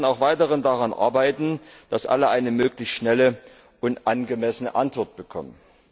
Wir werden auch weiterhin daran arbeiten, dass alle eine möglichst schnelle und angemessene Antwort bekommen.